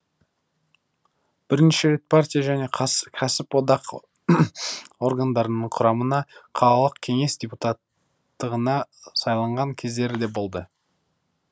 бірнеше рет партия және кәсіподақ органдарының құрамына қалалық кеңес депутаттығына сайланған кездері де болды